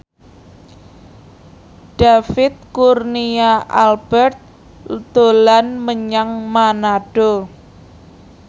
David Kurnia Albert dolan menyang Manado